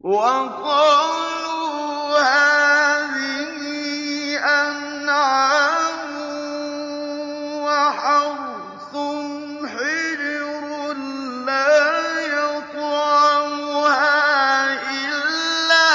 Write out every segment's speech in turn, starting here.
وَقَالُوا هَٰذِهِ أَنْعَامٌ وَحَرْثٌ حِجْرٌ لَّا يَطْعَمُهَا إِلَّا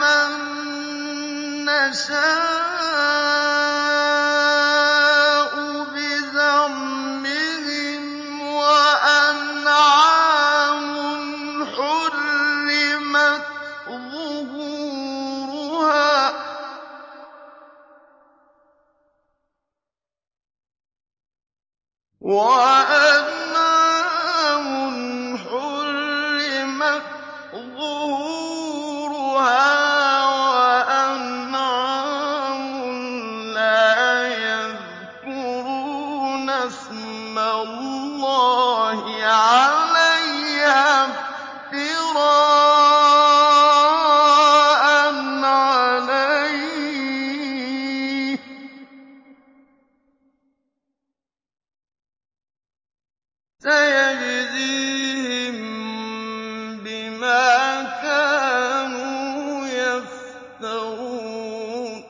مَن نَّشَاءُ بِزَعْمِهِمْ وَأَنْعَامٌ حُرِّمَتْ ظُهُورُهَا وَأَنْعَامٌ لَّا يَذْكُرُونَ اسْمَ اللَّهِ عَلَيْهَا افْتِرَاءً عَلَيْهِ ۚ سَيَجْزِيهِم بِمَا كَانُوا يَفْتَرُونَ